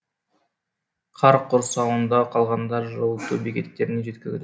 қар құрсауында қалғандар жылыту бекеттеріне жеткізіл